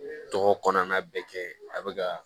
Dɔgɔ kɔnɔna bɛɛ kɛ a bɛ ka